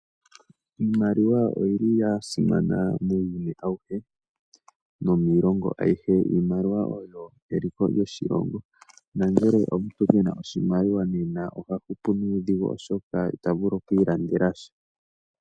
Iimaliwa oya simana muuyuni awuhe nomiilongo ayihe. Iimaliwa oyo eliko lyoshilongo nongele omuntu ke na oshimaliwa oha hupu nuudhigu molwaashoka ita vulu oku ilandela sha.